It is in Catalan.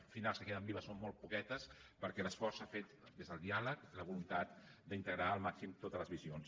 al final les que queden vives són molt poquetes perquè l’esforç s’ha fet des del diàleg i la voluntat d’integrar al màxim totes les visions